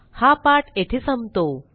हा पाठ येथे संपतो